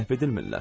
Məhv edilmirlər.